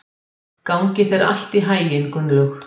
Gangi þér allt í haginn, Gunnlaug.